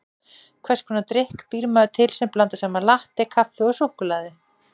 Hvers konar drykk býr maður til sem blandar saman latté-kaffi og súkkulaði?